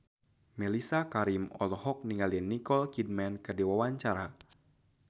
Mellisa Karim olohok ningali Nicole Kidman keur diwawancara